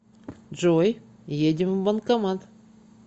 джой едем в банкомат